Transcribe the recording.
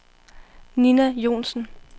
Nina Joensen